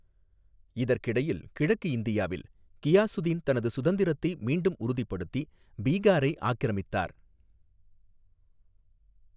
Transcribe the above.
இதற்கிடையில், கிழக்கு இந்தியாவில், கியாசுதீன் தனது சுதந்திரத்தை மீண்டும் உறுதிப்படுத்தி பீகாரை ஆக்கிரமித்தார்.